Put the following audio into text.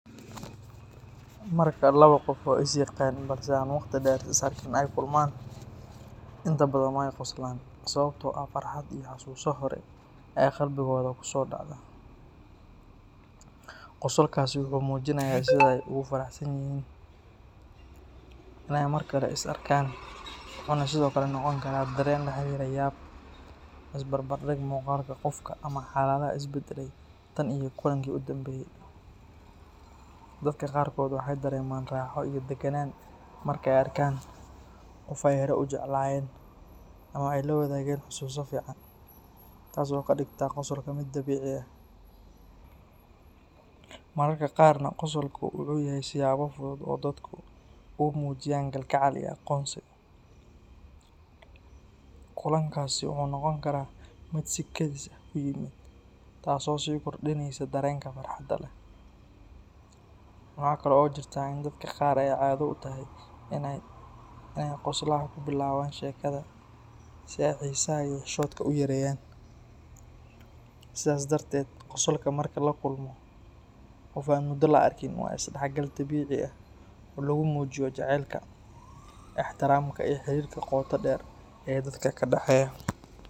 Marka laba qof oo is yaqaan balse aan waqti dheer is arkin ay kulmaan, inta badan wey qoslaan sababtoo ah farxad iyo xasuuso hore ayaa qalbigooda ku soo dhacda. Qosolkaasi wuxuu muujinayaa sida ay ugu faraxsan yihiin inay mar kale is arkaan, wuxuuna sidoo kale noqon karaa dareen la xiriira yaab, is barbardhig muuqaalka qofka ama xaaladaha is beddelay tan iyo kulankii u dambeeyay. Dadka qaarkood waxay dareemaan raaxo iyo daganaan marka ay arkaan qof ay horey u jeclaayeen ama ay la wadaageen xusuuso fiican, taas oo ka dhigta qosolka mid dabiici ah. Mararka qaarna, qosolku wuxuu yahay siyaabo fudud oo dadku ugu muujiyaan kalgacal iyo aqoonsi. Kulankaasi wuxuu noqon karaa mid si kedis ah ku yimid, taasoo sii kordhinaysa dareenka farxadda leh. Waxa kale oo jirta in dadka qaar ay caado u tahay inay qoslaha ku bilaabaan sheekada si ay xiisaha iyo xishoodka u yareeyaan. Sidaas darteed, qosolka marka la kulmo qof aan muddo la arkin waa isdhexgal dabiici ah oo lagu muujiyo jacaylka, ixtiraamka iyo xiriirka qoto dheer ee dadka ka dhexeeya.